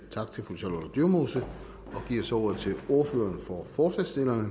tak til fru charlotte dyremose og giver så ordet til ordføreren for forslagsstillerne